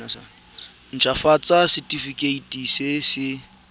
nt hafatsa setefikeiti se se